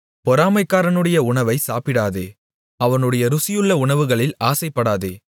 பொறாமைக்காரனுடைய உணவை சாப்பிடாதே அவனுடைய ருசியுள்ள உணவுகளில் ஆசைப்படாதே